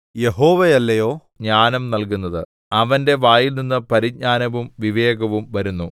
യഹോവയല്ലയോ ജ്ഞാനം നല്കുന്നത് അവന്റെ വായിൽനിന്ന് പരിജ്ഞാനവും വിവേകവും വരുന്നു